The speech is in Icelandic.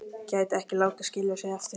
Gæti ekki látið skilja sig eftir.